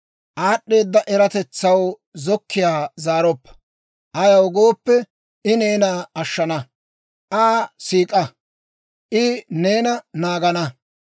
Aad'd'eeda eratetsaw zokkiyaa zaaroppa; ayaw gooppe, I neena ashshana; Aa siik'a; I neena naagana.